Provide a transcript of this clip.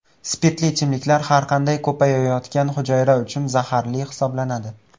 Spirtli ichimliklar har qanday ko‘payayotgan hujayra uchun zaharli hisoblanadi.